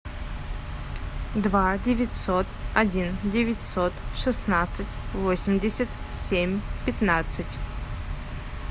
два девятьсот один девятьсот шестнадцать восемьдесят семь пятнадцать